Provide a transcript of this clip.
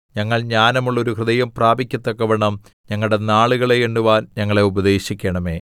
ഞങ്ങൾ ജ്ഞാനമുള്ള ഒരു ഹൃദയം പ്രാപിക്കത്തക്കവണ്ണം ഞങ്ങളുടെ നാളുകളെ എണ്ണുവാൻ ഞങ്ങളെ ഉപദേശിക്കണമേ